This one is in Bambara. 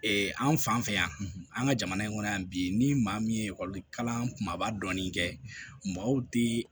Ee an fan fɛ yan an ka jamana in kɔnɔ yan bi ni maa min ye ekɔli kalanba dɔɔnin kɛ maaw ti